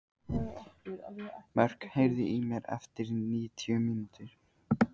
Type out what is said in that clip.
Mörk, heyrðu í mér eftir níutíu mínútur.